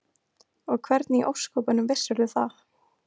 Og hvernig í ósköpunum vissirðu það?